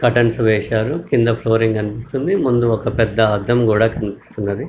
Curtains వేశారు కింద flooring కనిపిస్తుంది ముందు ఒక పెద్ద అద్దం కూడా కనిపిస్తున్నది.